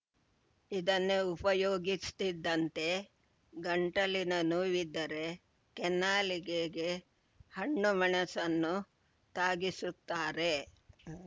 ಇದನ್ನೇ ಉಪಯೋಗಿಸ್ತಿದ್ದಿದ್ದಂತೆ ಗಂಟಲಿನ ನೋವಿದ್ದರೆ ಕೆನ್ನಾಲಿಗೆಗೆ ಹಣ್ಣು ಮೆಣಸನ್ನು ತಾಗಿಸುತ್ತಾರೆ